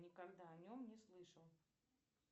никогда о нем не слышал